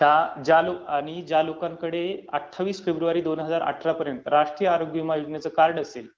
आणि ज्या लोकांकडे अठ्ठावीस फेब्रुवारी दोन हजार अठरा पर्यंत राष्ट्रीय आरोग्य विमा योजनेचं कार्ड असेल